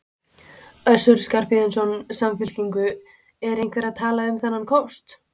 Össur Skarphéðinsson, Samfylkingu: Er einhver að tala um þennan kost?